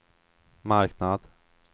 marknad